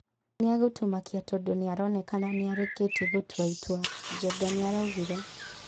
"Nĩegũtũmakia tondũ nĩaronekana nĩarĩkĩtie gũtua itua," Njenga nĩaraugire.